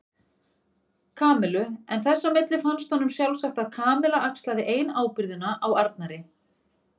Kamillu en þess á milli fannst honum sjálfsagt að Kamilla axlaði ein ábyrgðina á Arnari.